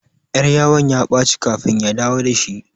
Ƴar yawan ya ɓaci kafin ya dawo dashi